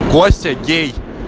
костя гей